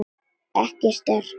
Ekki sterk.